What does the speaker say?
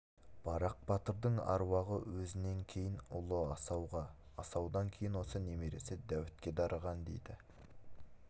барақ батырдың аруағы өзінен кейін ұлы асауға асаудан кейін осы немересі дәуітке дарыған дейді